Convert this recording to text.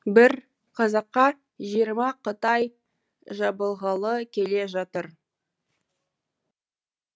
бір қазаққа жиырма қытай жабылғалы келе жатыр